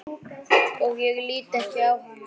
Og lít ekki á hana.